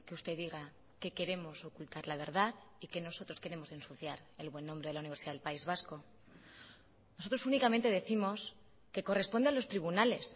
usted diga que queremos ocultar la verdad y que nosotros queremos ensuciar el buen nombre de la universidad del país vasco nosotros únicamente décimos que corresponde a los tribunales